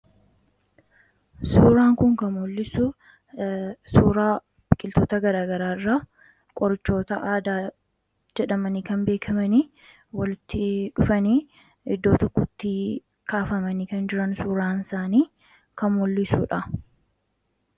Suuraan kun kan muul'isu, suuraa biqiltoota garaa garaa qorichoota aadaa jedhamanii kan beekamanii walitti dhufanii iddoo tokkottii kaafamanii kan jiran, suuraan isaanii kan mullisuudha.